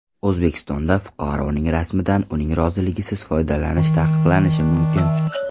O‘zbekistonda fuqaroning rasmidan uning roziligisiz foydalanish taqiqlanishi mumkin.